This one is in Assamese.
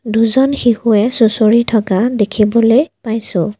দুজন শিশুৱে সুচৰি থকা দেখিবলৈ পাইছোঁ।